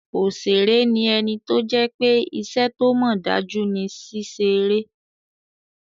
Òṣèré ní ẹni tó jẹ́ pé iṣẹ́ tó mọ̀ dájú ni ṣíṣe eré